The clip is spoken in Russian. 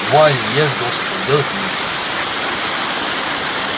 вали ешь досыта делать нечего